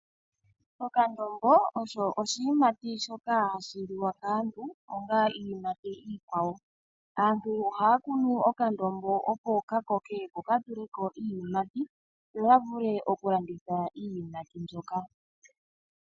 Okandombo osho iiyimati shoka ha yi liwa kaantu ngaashi iyimati iikwawo. Aantu oha ya kunu okandombo opo ka koke ko ka tuleko iiyimati, yo ya vule oku landitha iiyimati mboka.